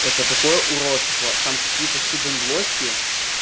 это такое уродство там какие-то хиден блоки